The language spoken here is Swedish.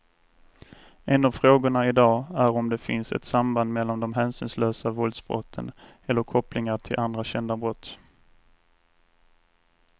En av frågorna i dag är om det finns ett samband mellan de hänsynslösa våldsbrotten eller kopplingar till andra kända brott.